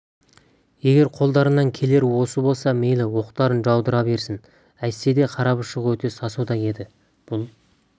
егер қолдарынан келері осы болса мейлі оқтарын жаудыра берсін әйтсе де қарапұшық өте сасуда еді бұл